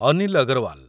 Anil Agarwal